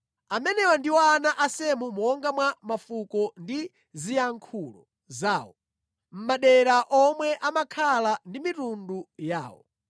Amenewa ndiwo ana a Semu monga mwa mafuko ndi ziyankhulo zawo, mʼmadera omwe ankakhala ndi mitundu yawo.